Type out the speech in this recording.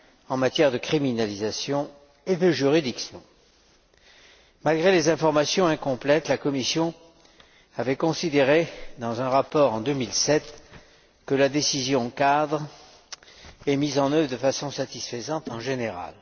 en matière de criminalisation et de juridiction. Malgré les informations incomplètes, la Commission avait considéré, dans un rapport en 2007, que la décision cadre était mise en œuvre d'une façon satisfaisante en général.